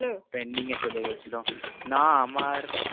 Pending চলে গিয়েছিলে না আমার